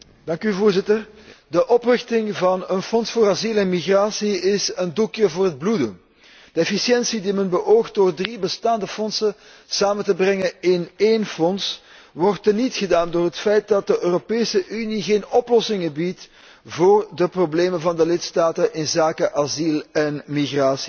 Voorzitter, de oprichting van een fonds voor asiel en migratie is een doekje voor het bloeden. De efficiëntie die men beoogt door drie bestaande fondsen samen te brengen in één fonds wordt teniet gedaan door het feit dat de Europese Unie geen oplossingen biedt voor de problemen van de lidstaten op het gebied van asiel en migratie.